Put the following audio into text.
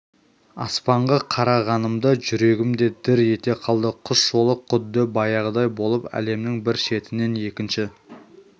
аспанға қарағанымда жүрегім дір ете қалды құс жолы құдды баяғыдай болып әлемнің бір шетінен екінші